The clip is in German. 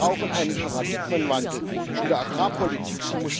Wir brauchen einen Paradigmenwandel in der Agrarpolitik.